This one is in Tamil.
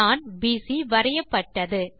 நாண்BC வரையப்பட்டது